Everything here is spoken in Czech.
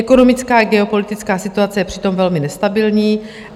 Ekonomická i geopolitická situace je přitom velmi nestabilní.